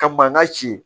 Ka mankan ci